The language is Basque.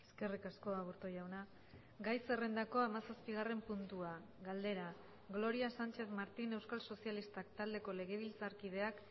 eskerrik asko aburto jauna gai zerrendako hamazazpigarren puntua galdera gloria sánchez martín euskal sozialistak taldeko legebiltzarkideak